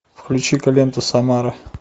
включи ка ленту самара